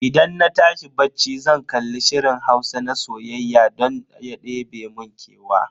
Idan na tashi bacci zan kalli shirin Hausa na soyayya don ya ɗebe mun kewa.